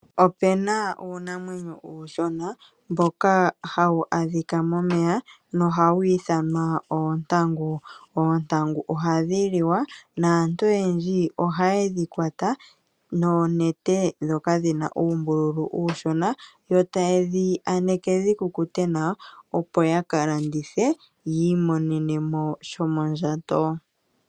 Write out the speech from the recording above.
Opena uunamwenyo uushona mboka hawu adhika momeya wo ohawu ithanwa oontangu. Oontangu ohadhi liwa naantu oyendji oha yedhi kwata noonete dhoka dhina uumbulu uushona yo tayedhi aneke dhikukute nawa opo yakalandithe yiimonenemo sha shomondjato.